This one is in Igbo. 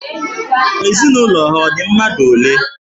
Ezinụlọ ha ọ dị mmadụ ole?